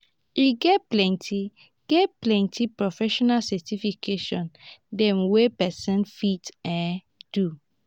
e get plenty get plenty profesional certification dem wey person fit um do.